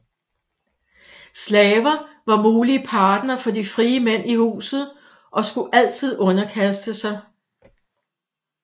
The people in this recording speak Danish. Slaver var mulige partnere for de frie mænd i huset og skulle altid underkaste sig